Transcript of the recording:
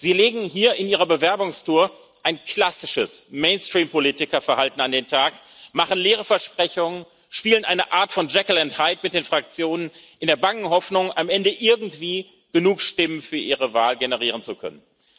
Sie legen hier in Ihrer Bewerbungstour ein klassisches Mainstream Politikerverhalten an den Tag, machen leere Versprechungen, spielen eine Art von Jekyll and Hyde mit den Fraktionen in der bangen Hoffnung, am Ende irgendwie genug Stimmen für Ihre Wahl generieren zu können.